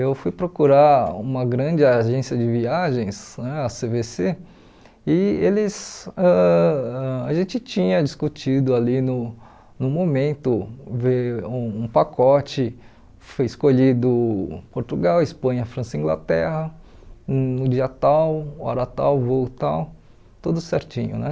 Eu fui procurar uma grande agência de viagens, né a cê vê cê e eles ãh ãh a gente tinha discutido ali no no momento, ver um um pacote, foi escolhido Portugal, Espanha, França, Inglaterra, no dia tal, hora tal, voo tal, tudo certinho né.